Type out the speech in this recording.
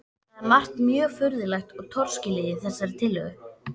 Það er margt mjög furðulegt og torskilið í þessari tillögu.